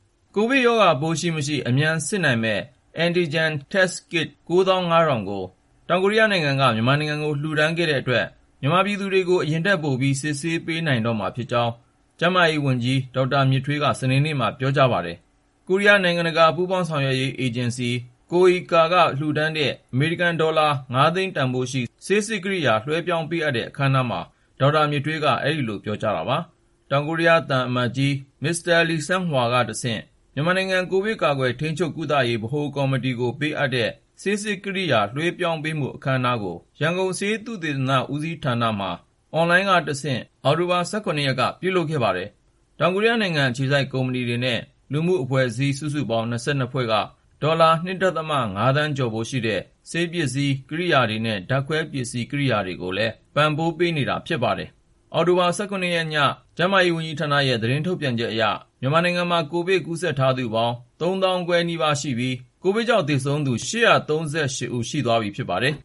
ကိုဗစ်ရောဂါပိုး ရှိမရှိ အမြန်စစ်နိုင်မယ့် Rapid Antigen Diagnostic Test Kit (RADTK) ကိရိယာ ၉၅,၀၀၀ ကို တောင်ကိုရီးယားနိုင်ငံက မြန်မာနိုင်ငံကို လှူဒါန်းခဲ့တဲ့အတွက် မြန်မာပြည်သူတွေကို အရင်ထက်ပိုပြီး စစ်ဆေးပေးနိုင်တော့မှာဖြစ်ကြောင်း ကျန်းမာရေးနဲ့ အားကစားဝန်ကြီးဌာန ဝန်ကြီး ဒေါက်တာမြင့်ထွေးက စနေနေ့မှာ ပြောကြားလိုက်ပါတယ်။ Korea International Cooperation Agency (KOICA) ကိုရီးယား နိုင်ငံတကာ ပူးပေါင်းဆောင်ရွက်ရေး အေဂျင်စီက လှူဒါန်းတဲ့ အမေရိကန်ဒေါ်လာ ၅၀၀,၀၀၀ တန်ဖိုးရှိ ဆေးစစ်ကိရိယာ လွှဲပြောင်းပေးအပ်တဲ့ အခမ်းအနားမှာ ဒေါက်တာမြင့်ထွေးက အဲဒီလို ပြောကြားလိုက်တာပါ။ တောင်ကိုရီးယားနိုင်ငံ သံအမတ်ကြီး H.E Mr. Lee Sang-hwa ကတဆင့် မြန်မာနိုင်ငံ COVID-19 ကာကွယ် ထိန်းချုပ် ကုသရေး ဗဟိုကော်မတီကို ပေးအပ်တဲ့ ဆေးစစ်ကိရိယာ RADTK လွှဲပြောင်းမှု အခမ်းအနားကို ရန်ကုန် ဆေးသုတေသန ဦးစီးဌာနမှာ အွန်လိုင်းကတဆင့် Video Conferencing နဲ့ အောက်တိုဘာ ၁၇ ရက်က ပြုလုပ်ခဲ့ပါတယ်။ တောင်ကိုရီးယားအစိုးရ၊ ကိုရီးယားနိုင်ငံ အခြေစိုက် ကုမ္ပဏီတွေနဲ့ လူမှုရေး အဖွဲ့အစည်းတွေ စုစုပေါင်း ၂၂ ဖွဲ့က ဒေါ်လာ ၂.၅ သန်းကျော်ဖိုးရှိတဲ့ ဆေးပစ္စည်း ကိရိယာတွေနဲ့ ဓာတ်ခွဲပစ္စည်း ကိရိယာတွေကိုလည်း ပံ့ပိုးပေးခဲ့ပါတယ်။ အောက်တိုဘာ ၁၇ ရက်ည ကျန်းမာရေးဝန်ကြီးဌာနရဲ့ သတင်းထုတ်ပြန်ချက်အရ မြန်မာနိုင်ငံမှာ ကိုဗစ် ဓာတ်ခွဲအတည်ပြုလူနာ စုစုပေါင်း ၃၄,၈၇၅ ဦးရှိပြီး ကိုဗစ်ကြောင့် သေဆုံးခဲ့သူပေါင်း ၈၃၈ ဦး ရှိသွားပြီဖြစ်ပါတယ်